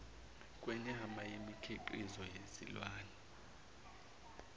kwenyama nemikhiqizo yezilwane